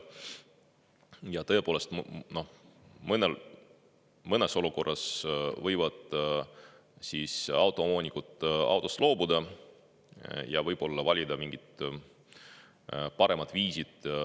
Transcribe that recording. Ja tõepoolest, mõnes olukorras võivad autoomanikud autost loobuda ja valida mingid paremad viisid.